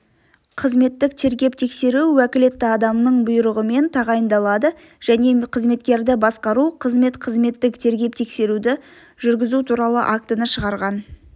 қызметтік тергеп-тексеру уәкілетті адамның бұйрығымен тағайындалады және қызметкерді басқару қызмет қызметтік тергеп-тексеруді жүргізу туралы актіні шығарған